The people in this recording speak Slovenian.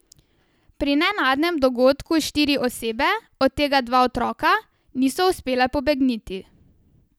Pri nenadnem dogodku štiri osebe, od tega dva otroka, niso uspele pobegniti.